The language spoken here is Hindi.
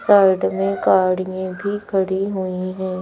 साइड में गाड़ियां भी खड़ी हुई है।